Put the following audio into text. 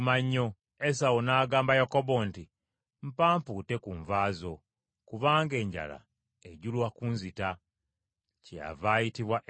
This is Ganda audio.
Esawu n’agamba Yakobo nti, “Mpa mpute ku nva ezo, kubanga enjala ejula kunzita.” Kyeyava ayitibwa Edomu.